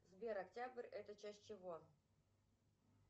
сбер октябрь это часть чего